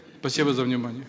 спасибо за внимание